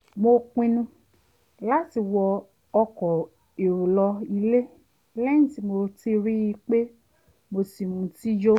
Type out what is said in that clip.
mo pinnu láti wọ ọkọ̀ èrò lọ ilé lẹ́yìn tí mo rí i pé mo ti mutí yó